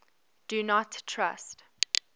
do not trust